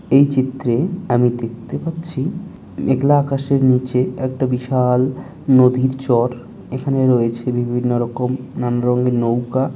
এই চিত্রে আমি দেখতে পাচ্ছি মেঘলা আকাশের নিচে একটা বিশা-আল নদীর চর। এখানে রয়েছে বিভিন্ন রকমের নানা রঙের নৌকা।